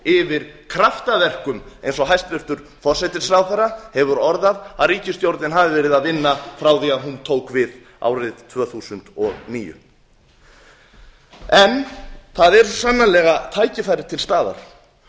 yfir kraftaverkum eins og hæstvirtur forsætisráðherra hefur orðað að ríkisstjórnin hafi verið að vinna frá því að hún tók við árið tvö þúsund og níu það eru svo sannarlega tækifæri til staðar og